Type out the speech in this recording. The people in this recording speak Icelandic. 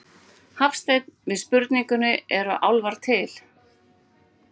Hafstein við spurningunni Eru álfar til?